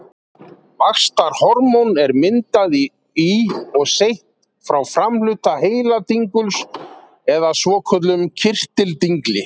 vaxtarhormón er myndað í og seytt frá framhluta heiladinguls eða svokölluðum kirtildingli